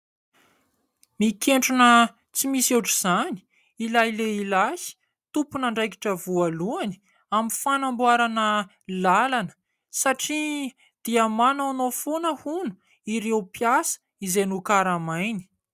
Mikentrona tsy misy ohatran'izany ilay lehilahy tompon'andraikitra voalohany amin'ny fanamboarana lalana satria dia manaonao foana hono ireo mpiasa izay nokaramainy.